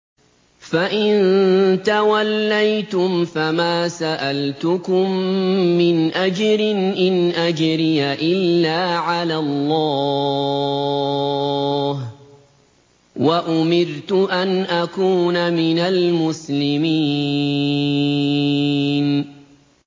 فَإِن تَوَلَّيْتُمْ فَمَا سَأَلْتُكُم مِّنْ أَجْرٍ ۖ إِنْ أَجْرِيَ إِلَّا عَلَى اللَّهِ ۖ وَأُمِرْتُ أَنْ أَكُونَ مِنَ الْمُسْلِمِينَ